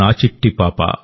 నా చిట్టి పాపా